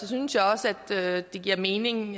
synes jeg også at det giver mening